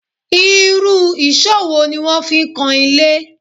Irú èṣó wo ni wọ́n fi ń kan ilé?